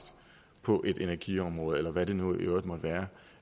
på energiområdet eller hvad det nu i øvrigt måtte være